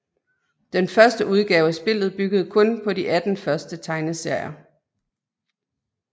Den første udgave af spillet byggede kun på de 18 første tegneserier